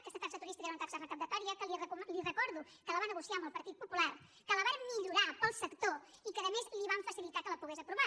aquesta taxa turística era una taxa recaptatòria que li recordo que la va negociar amb el partit popular que la vàrem millorar per al sector i que a més li vam facilitar que la pogués aprovar